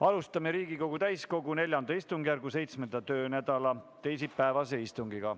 Alustame Riigikogu täiskogu IV istungjärgu 7. töönädala teisipäevast istungit.